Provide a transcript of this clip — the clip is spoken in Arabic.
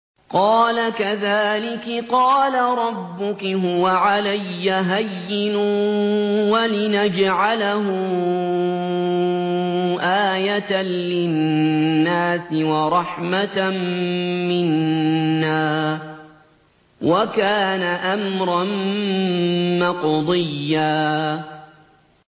قَالَ كَذَٰلِكِ قَالَ رَبُّكِ هُوَ عَلَيَّ هَيِّنٌ ۖ وَلِنَجْعَلَهُ آيَةً لِّلنَّاسِ وَرَحْمَةً مِّنَّا ۚ وَكَانَ أَمْرًا مَّقْضِيًّا